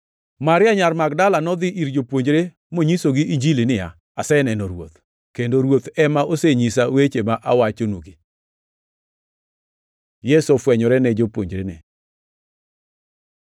Maria nyar Magdala nodhi ir jopuonjre monyisogi Injili niya, “Aseneno Ruoth!” Kendo Ruoth ema osenyisa weche ma awachonugi. Yesu ofwenyore ne jopuonjrene